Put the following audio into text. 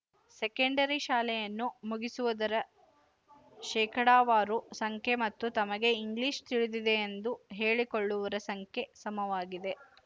secondary ಶಾಲೆಯನ್ನು ಮುಗಿಸುವದರ ಶೇಕಡಾವಾರು ಸಂಖ್ಯೆ ಮತ್ತು ತಮಗೆ ಇಂಗ್ಲಿಶ ತಿಳಿದಿದೆಯೆಂದು ಹೇಳಿಕೊಳ್ಳುವರ ಸಂಖ್ಯೆ ಸಮವಾಗಿದೆ